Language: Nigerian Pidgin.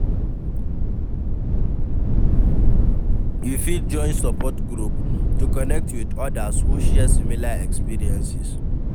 You fit join support group to connect with odas who share similar experiences?